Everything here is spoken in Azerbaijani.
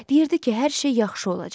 Deyirdi ki, hər şey yaxşı olacaq.